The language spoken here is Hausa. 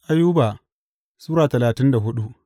Ayuba Sura talatin da hudu